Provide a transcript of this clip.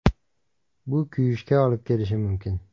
Bu kuyishga olib kelishi mumkin.